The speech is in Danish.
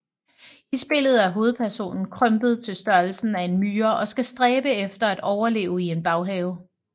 I spillet er hovedpersonen krympet til størrelsen af en myre og skal stræbe efter at overleve i en baghave